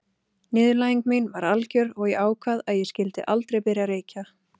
Niðurlæging mín var algjör og ég ákvað að ég skyldi aldrei byrja að reykja.